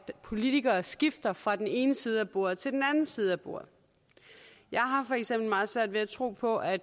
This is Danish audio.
politikere skifter fra den ene side af bordet til den anden side af bordet jeg har for eksempel meget svært ved at tro på at